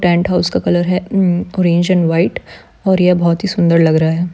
Penthouse का colour है um orange and white और यह बहोत ही सुंदर लग रहा है।